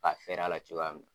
Ka fɛrɛ a la cogoya min.